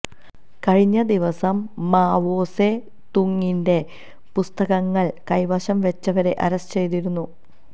കഴിഞ്ഞ ദിവസം മാവോ സേ തൂങ്ങിന്റെ പുസ്തകങ്ങള് കൈവശം വച്ചവരെ അറസ്റ്റ് ചെയ്തിരുന്നു